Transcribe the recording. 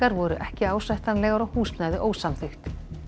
voru ekki ásættanlegar og húsnæði ósamþykkt